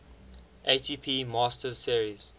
atp masters series